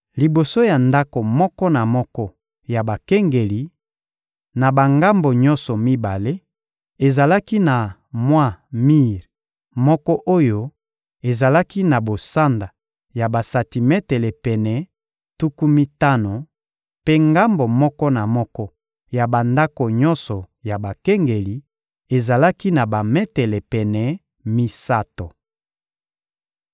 Liboso ya ndako moko na moko ya bakengeli, na bangambo nyonso mibale, ezalaki na mwa mir moko oyo ezalaki na bosanda ya basantimetele pene tuku mitano, mpe ngambo moko na moko ya bandako nyonso ya bakengeli ezalaki na bametele pene misato.